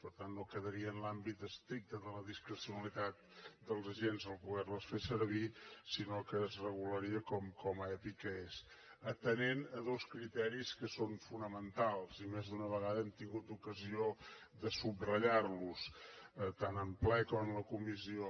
per tant no quedaria en l’àmbit estricte de la discrecionalitat dels agents poderles fer servir sinó que es regularia com a epi que és atenent a dos criteris que són fonamentals i més d’una vegada hem tingut ocasió de subratllarlos tant en ple com en comissió